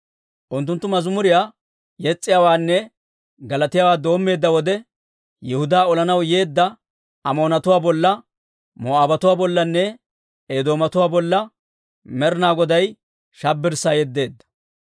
Unttunttu mazimuriyaa yes's'iyaawaanne galatiyaawaa doommeedda wode, Yihudaa olanaw yeedda Amoonatuwaa bolla, Moo'aabatuwaa bollanne Eedoomatuwaa bolla Med'inaa Goday shabbirssaa yeddeedda.